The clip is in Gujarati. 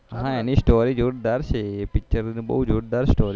હા એની સ્ટોરી જોરદાર છે એ picture બહુ જોરદાર છે